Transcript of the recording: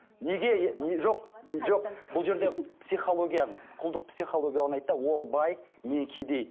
бұл жерде психологияның құлдық психология орнайды да ол бай мен кедей